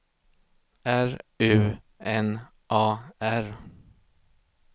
R U N A R